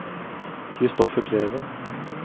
Christoffer Kleven